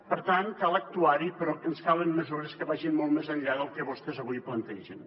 per tant cal actuar hi però ens calen mesures que vagin molt més enllà del que vostès avui plantegen